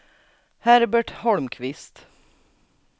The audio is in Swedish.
Herbert Holmqvist